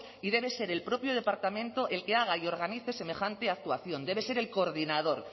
y debe ser el propio departamento el que haga y organice semejante actuación debe ser el coordinador